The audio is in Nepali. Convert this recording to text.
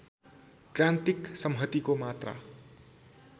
क्रान्तिक सम्हतिको मात्रा